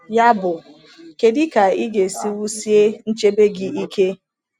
Yabụ, kedu ka ị ga-esi wusie nchebe gị ike?